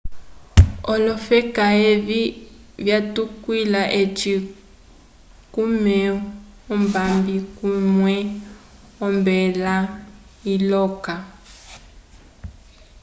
olofeka evi vyatukwila eci kumeu ombabi kumwe ombela iloka